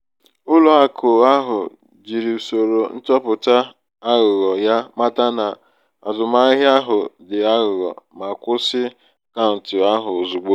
ụlọ akụ ahụ jiri usoro nchọpụta aghụghọ ya mata na azụmahịa ahụ di aghugho um ma kwụsị akaụntụ ahụ ozugbo.